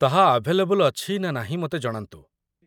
ତାହା ଆଭେଲେବଲ୍ ଅଛି ନା ନାହିଁ ମୋତେ ଜଣାନ୍ତୁ।